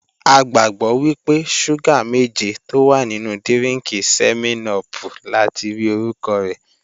A gbàgbọ́ wípé, ṣúgà méje tó wà nínú dírínkì sẹ́mẹ́n-upù lati rí orúkọ rẹ̀